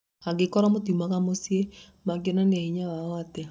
Angĩkorwo matiumaga mĩciĩ, mangĩonania hinya wao atĩa ?